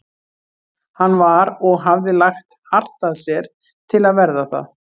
Hann var- og hafði lagt hart að sér til að verða það